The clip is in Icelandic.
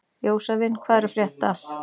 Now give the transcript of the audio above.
Jósavin, hvað er að frétta?